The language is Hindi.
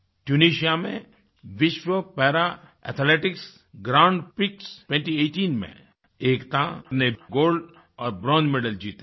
ट्यूनिसिया में विश्व पैरा एथलेटिक्स ग्रैंड प्रिक्स 2018 में एकता ने गोल्ड और ब्रोंज मेडल जीते हैं